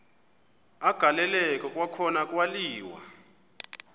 agaleleka kwakhona kwaliwa